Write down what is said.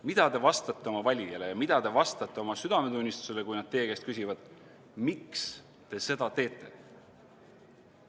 Mida te vastate oma valijale ja mida te vastate oma südametunnistusele, kui nad teie käest küsivad, miks te seda teete?